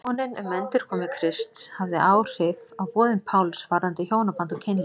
Vonin um endurkomu Krists hafði áhrif á boðun Páls varðandi hjónaband og kynlíf.